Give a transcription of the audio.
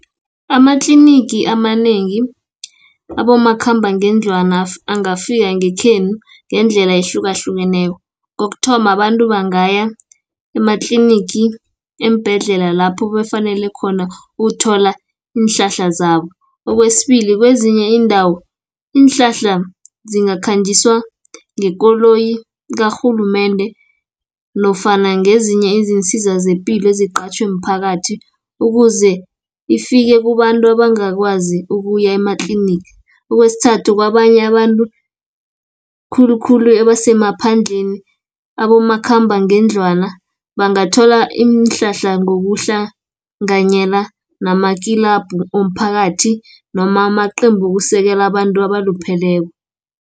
Amatlinigi amanengi abomakhambangendlwana, angafika ngekhenu ngendlela ehlukahlukeneko, Kokuthoma abantu bangaya ematlinigi, eembhedlela lapho bafanele khona uthola iinhlahla zabo. Okwesibili kwezinye iindawo, iinhlahla zingakhanjiswa ngekoloyi karhulumende, nofana ngezinye izinsiza zepilo eziqatjhwe mphakathi, ukuze ifike kubantu abangakwazi ukuya ema-clinic. Okwesithathu kwabanye abantu, khulukhulu ebasemaphandleni, abomakhambangendlwana bangathola iinhlahla, ngokuhlanyela nama kinabhu womphakathi, noma amaqembu wokusekela abantu abalupheleko.